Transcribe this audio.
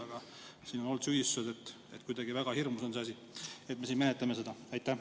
Aga siin on olnud süüdistusi, et kuidagi väga hirmus on see asi, kui me siin neid menetleme.